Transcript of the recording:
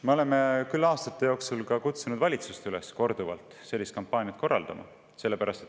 Me oleme aastate jooksul korduvalt kutsunud ka valitsust üles sellist kampaaniat korraldama.